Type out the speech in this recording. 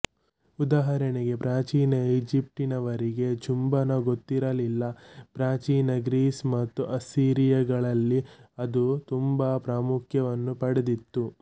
ಉದಾಹರಣೆಗೆ ಪ್ರಾಚೀನ ಈಚಿಪ್ಟಿನವರಿಗೆ ಚುಂಬನ ಗೊತ್ತಿರಲಿಲ್ಲ ಪ್ರಾಚೀನ ಗ್ರೀಸ್ ಮತ್ತು ಅಸ್ಸೀರಿಯಗಳಲ್ಲಿ ಅದು ತುಂಬ ಪ್ರಾಮುಖ್ಯವನ್ನು ಪಡೆದಿತ್ತು